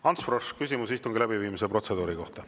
Ants Frosch, küsimus istungi läbiviimise protseduuri kohta.